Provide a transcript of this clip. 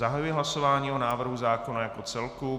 Zahajuji hlasování o návrhu zákona jako celku.